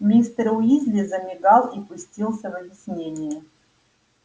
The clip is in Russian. мистер уизли замигал и пустился в объяснения